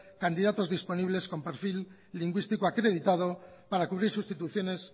candidatos disponibles con perfil lingüístico acreditado para cubrir sustituciones